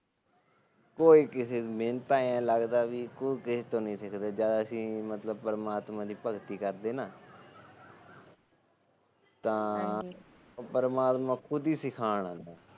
ਕੋਈ ਕਿਸੇ ਤੋ ਨੀ ਮੈਨੂੰ ਤਾ ਐਹੀ ਲੱਗਦਾ ਕੋਈ ਕਿਸੇ ਤੋ ਨੀ ਸਿੱਖਦਾ ਜਦ ਅਸੀ ਮਤਲਬ ਪਰਮਾਤਮਾ ਦੀ ਭਗਤੀ ਕਰਦੇ ਆ ਨਾ ਤਾ ਪਰਮਾਤਮਾ ਖੁਦ ਹੀ ਸਿਖਾਣ